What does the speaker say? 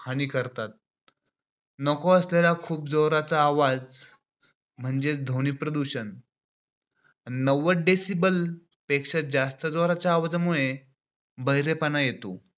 हानी करतात. नको असलेल्या खूप जोराचा आवाज म्हणजेच ध्वनी प्रदूषण नव्वद decibels पेक्षा जास्त आवाजामुळे बहिरेपणा येतो.